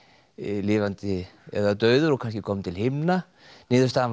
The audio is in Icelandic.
lifandi eða dauður og kannski kominn til himna niðurstaðan var